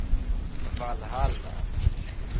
valhalla